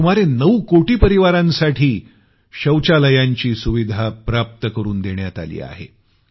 आणि सुमारे 9 कोटी परिवारांसाठी शौचालयांची सुविधा प्राप्त करून देण्यात आली आहे